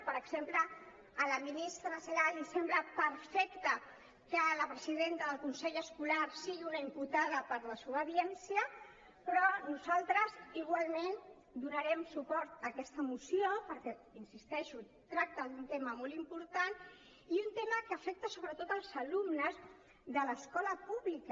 per exemple a la ministra celaá li sembla perfecte que la presidenta del consell escolar sigui una imputada per desobediència però nosaltres igualment donarem suport a aquesta moció perquè hi insisteixo tracta d’un tema molt important i un tema que afecta sobretot als alumnes de l’escola pública